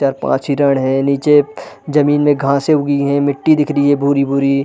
चार- पाँच हिरण है नीचे जमीन में घाँसे उगी है मिट्टी दिख रही है भूरी -भूरी --